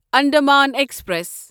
Andaman express